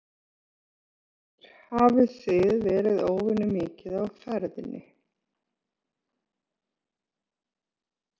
Lillý Valgerður Pétursdóttir: Hafið þið verið óvenju mikið á ferðinni?